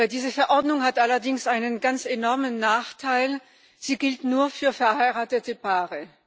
Diese Verordnung hat allerdings einen ganz enormen Nachteil Sie gilt nur für verheiratete Paare.